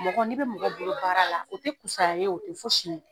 Mɔgɔ ni bɛ mɔgɔ bolo baara la o tɛ fisaya ye o tɛ fosi ye.